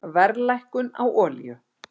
Verðlækkun á olíu